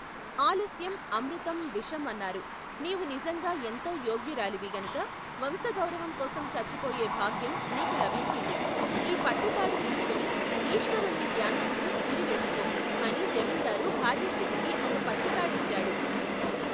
ఆలస్యం అమృతం విషం అన్నారు. నీవు నిజంగా ఎంతో యోగ్యురాలివి గనుక వంశగౌరవంకోసం చచ్చిపోయే భాగ్యం నీకు లభించింది. ఈ పట్టుతాడు తీసుకుని ఈశ్వరుణ్ణి ధ్యానిస్తూ ఉరి వేసుకో ! అని జమీందారు భార్యచేతికి ఒక పట్టుతాడిచ్చాడు.